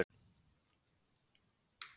Þórmundur